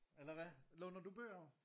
Eller hvad? Låner du bøger?